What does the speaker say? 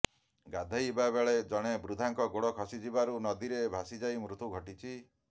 ଗାଧୋଇବା ବଳେ ଜଣେ ବୃଦ୍ଧାଙ୍କ ଗୋଡ ଖସିଯିବାରୁ ନଦୀରେ ଭାସିଯାଇ ମୃତ୍ୟୁ ଘଟିଛି